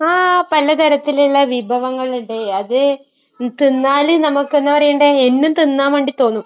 ആ. പലതരത്തിലുള്ള വിഭവങ്ങൾ ഉണ്ട്. അത് തിന്നാല് നമ്മൾ...ഇപ്പൊ എന്താ പറയണ്ടേ...എന്നും തിന്നാൻ വേണ്ടി തോന്നും.